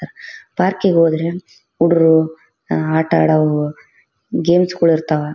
ಅಹ್ ಪಾರ್ಕಿಗ್ ಹೋದ್ರೆ ಹುಡುರು ಆಟ ಆಡೋವು ಗೇಮ್ಸ್ ಗಳು ಇರ್ತಾವ.